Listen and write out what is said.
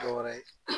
Dɔ wɛrɛ ye